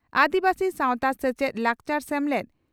ᱟᱹᱫᱤᱵᱟᱹᱥᱤ ᱥᱟᱣᱛᱟ ᱥᱮᱪᱮᱫ ᱞᱟᱠᱪᱟᱨ ᱥᱮᱢᱞᱮᱫ